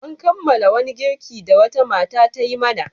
An kammala wani girki da wata mata ta yi mana.